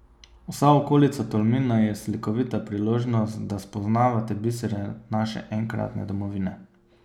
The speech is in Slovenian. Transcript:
Vsa okolica Tolmina je slikovita priložnost, da spoznavate bisere naše enkratne domovine.